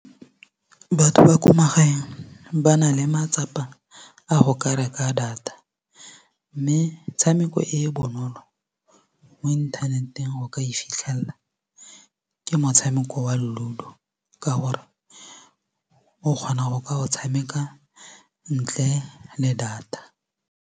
Batho ba ko magaeng ba na le matsapa a go ka reka data metshameko e e bonolo mo inthaneteng o ka e fitlhelela ke motshameko wa LUDO ka gore o kgona go ka o tshameka ntle le data.